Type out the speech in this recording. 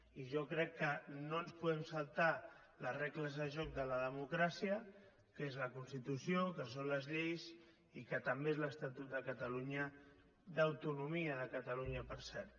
i jo crec que no ens podem saltar les regles de joc de la democràcia que és la constitució que són les lleis i que també és l’estatut de catalunya d’autonomia de catalunya per cert